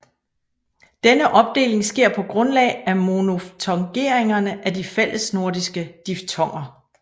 Denne opdeling sker på grundlag af monoftongeringerne af de fællesnordiske diftonger